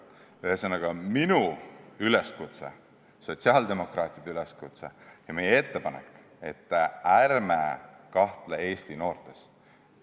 Ühesõnaga, minu ja teiste sotsiaaldemokraatide üleskutse ja meie ettepanek on: ärme kahtleme Eesti noortes!